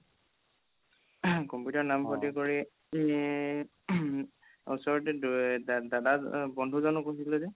throat computer ৰ নাম ভৰ্তি কৰি throat ওচৰতে দাদা বন্ধুজন কৈছিলো যে